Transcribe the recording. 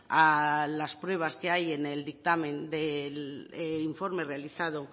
a las pruebas que hay en el dictamen del informe realizado